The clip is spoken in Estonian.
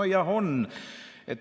"– "No jah, on.